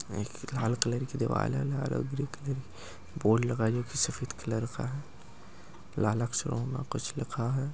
एक लाल कलर की दीवाल है बोर्ड लगाए है जो की सफ़ेद कलर का है। लाल अक्षरो मे कुछ लिखा है।